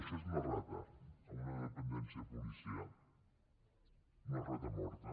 això és una rata en una dependència policial una rata morta